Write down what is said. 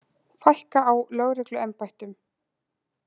Fækka á lögregluembættum